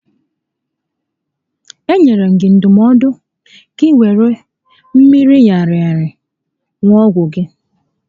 E nyere gị ndụmọdụ gị wéré mmiri ṅara aṅa ṅụọ ọgwụ gị